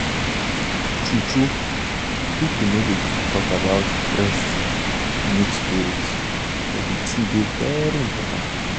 true-true people no dey too talk about breast milk storage but the thing dey very important